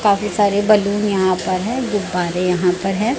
काफी सारे बैलून यहां पर है गुब्बारे यहां पर है।